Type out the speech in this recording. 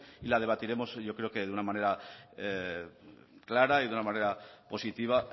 y la debatiremos yo creo que de una manera clara y de una manera positiva